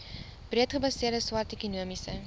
breedgebaseerde swart ekonomiese